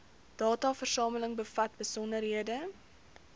dataversameling bevat besonderhede